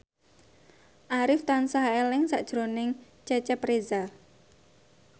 Arif tansah eling sakjroning Cecep Reza